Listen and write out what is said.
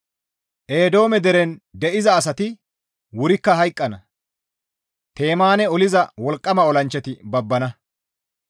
Eedoome deren de7iza asati wurikka hayqqana; Temaane oliza wolqqama olanchchati babbana.